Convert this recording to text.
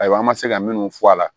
Ayiwa an ma se ka minnu fɔ a la